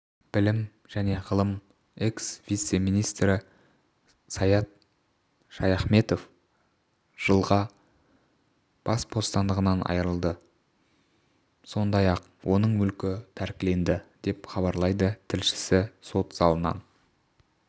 білім және ғылым экс-вице-министрі саят шаяхметов жылға бас бостандығынан айырылды сондай-ақ оның мүлкі тәркіленді деп хабарлайды тілшісі сот залынан